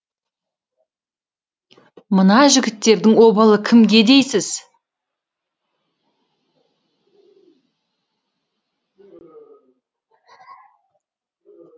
мына жігіттердің обалы кімге дейсіз